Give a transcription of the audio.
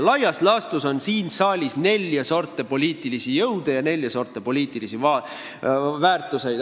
Laias laastus on siin saalis nelja sorti poliitilisi jõude ja nelja sorti poliitilisi väärtusi.